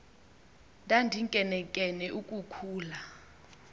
ndandinkenenkene uku khula